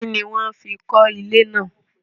Kínni wọ́n fi kọ́ ilé náà?